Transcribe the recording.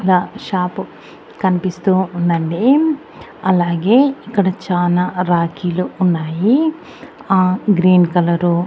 అక్కడ షాపు కనిపిస్తూ ఉందండి అలాగే ఇక్కడ చానా రాఖీలు ఉన్నాయి ఆ గ్రీన్ కలరు .